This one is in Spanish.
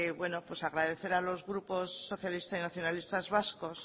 bueno pues agradecer a los grupos socialista y nacionalistas vascos